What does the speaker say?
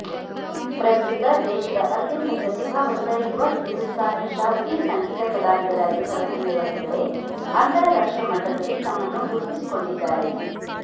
ಪ್ರಸ್ತುತ ದೇಶದ ಅತ್ಯಂತ ಪ್ರತಿಭಾವಂತ ಯುವ ಹಿಂದೂಸ್ಥಾನಿ ಶಾಸ್ತ್ರೀಯ ಸಂಗೀತ ಕಲಾವಿದರಾಗಿ ಹೊರಹೊಮ್ಮಿರುವ ಹೆಗಡೆ ಅಂತಾರಾಷ್ಟ್ರಮಟ್ಟದಲ್ಲಿ ತಮ್ಮನ್ನು ಗುರುತಿಸಿಕೊಂಡಿದ್ದಾರೆ